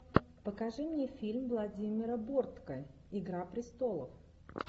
покажи мне фильм владимира бортко игра престолов